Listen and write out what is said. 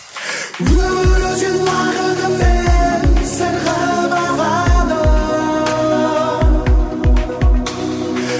өмір өзен уақытымен сырғып ағады